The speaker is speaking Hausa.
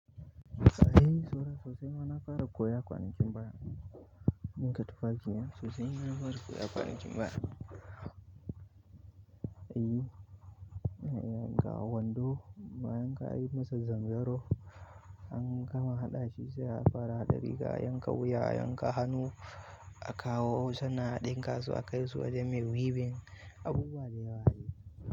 Ai, saura sosai ma na fara koya kwanakin bara. Ɗinka tufafi sosai mana fara koya kwanakin bara. Eh ga wando, bayan ka yi masu zanzaro, an kama haɗa shi sai a fara haɗa riga, a yanka wuya, yanka hannu, a kawo sannan a ɗinka su a kai su wajen mai wibin. Abubuwa da yawa dai.